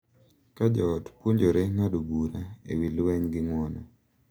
Ka jo ot puonjore ng’ado bura e wi lweny gi ng’uono,